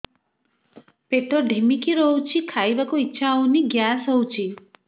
ପେଟ ଢିମିକି ରହୁଛି ଖାଇବାକୁ ଇଛା ହଉନି ଗ୍ୟାସ ହଉଚି